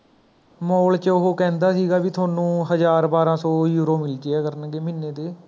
mall ਚ ਓਹ ਕਹਿੰਦਾ ਸੀਗਾ ਵੀ ਤੁਹਾਨੂੰ ਹਜ਼ਾਰ ਬਾਰਹ ਸੌ euro ਮਿਲ ਜਾਇਆ ਕਰਨਗੇ ਮਹੀਨੇ ਦੇ